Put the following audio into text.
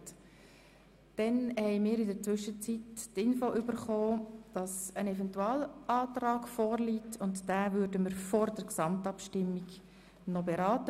In der Zwischenzeit haben wir die Information erhalten, dass ein Eventualantrag von Grossrat Haas vorliegt.